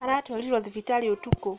Aratwarirwo thibitarĩ ũtukũ.